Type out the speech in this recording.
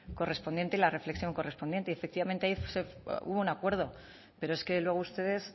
correspondiente y la reflexión correspondiente y efectivamente hubo acuerdo pero es que luego ustedes